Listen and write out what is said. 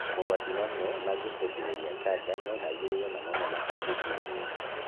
Mogwati mamwe mangĩcũngĩrĩria kanja nomarigĩrĩrio na mamwe matingĩrigĩrĩrio